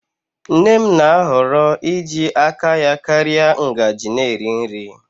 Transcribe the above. Nne m na-ahọrọ iji aka ya karịa ngaji na-eri nri.